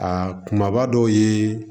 A kumaba dɔw ye